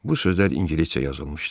Bu sözlər ingiliscə yazılmışdı.